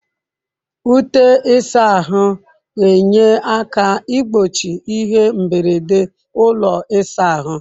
Ute ịsa ahụ ga-enye aka igbochi ihe mberede ụlọ ịsa ahụ.